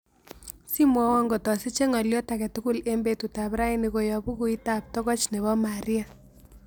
Simwowon ngot asiche ngolyot agetugul eng' betutap raini koyop bookuitabtogoch ne po Maria